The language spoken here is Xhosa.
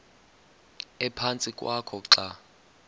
ephantsi kwakho xa